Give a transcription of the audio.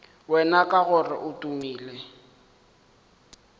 wena ka gore o tumile